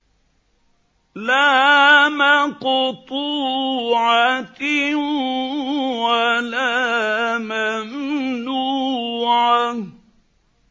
لَّا مَقْطُوعَةٍ وَلَا مَمْنُوعَةٍ